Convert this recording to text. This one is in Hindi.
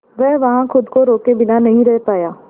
वह वहां खुद को रोके बिना नहीं रह पाया